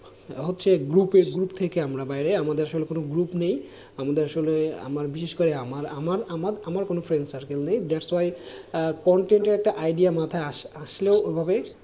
হচ্ছে group group থেকে আমরা বাইরে আমাদের আসলে কোন group নেই, আমাদের আসলে, বিশেষ করে আমার আমার আমার কোনো friend circle নেই that's why content এর একটা idea মাথায় আসলেও ওভাবে,